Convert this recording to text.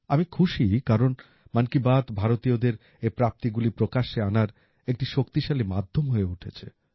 আমি খুশি কারণ মন কী বাত ভারতীয়দের এই প্রাপ্তিগুলি প্রকাশ্যে আনার একটি শক্তিশালী মাধ্যম হয়ে উঠেছে